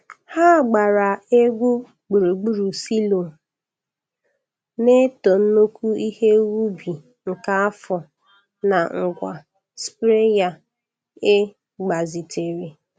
Ha gbaara egwu gburugburu silo, na-eto nnukwu ihe ubi nke afọ na ngwa sprayer e gbazitere.